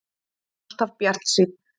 Alltaf bjartsýnn!